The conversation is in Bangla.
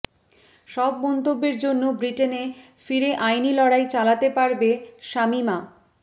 সব মন্তব্যের জন্য ব্রিটেনে ফিরে আইনি লড়াই চালাতে পারবে শামীমা